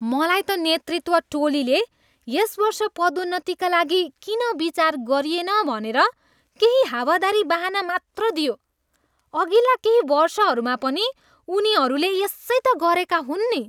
मलाई त नेतृत्व टोलीले यस वर्ष पदोन्नतिका लागि किन विचार गरिएन भनेर केही हावादारी बहाना मात्र दियो। अघिल्ला केही वर्षहरूमा पनि उनीहरूले यसै त गरेका हुन् नि!